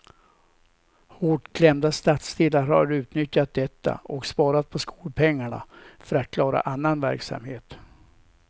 Hårt klämda stadsdelar har utnyttjat detta och sparat på skolpengarna för att klara annan verksamhet.